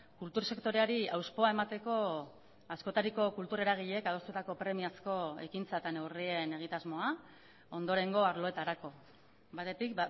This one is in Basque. kultur sektoreari hauspoa emateko askotariko kultura eragileek adostutako premiazko ekintza eta neurrien egitasmoa ondorengo arloetarako batetik